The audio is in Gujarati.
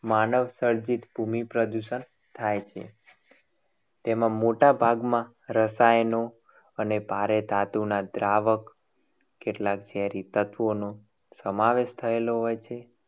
માનવસર્જિત ભૂમિ પ્રદૂષણ થાય છે. તેમાં મોટાભાગમાં રસાયણો અને ભારે ધાતુના દ્રાવક કેટલા ઝેરી તત્વોનું સમાવેશ થયેલો હોય છે.